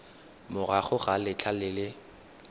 morago ga letlha le le